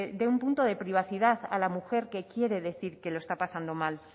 dé un punto de privacidad a la mujer que quiere decir que lo está pasando mal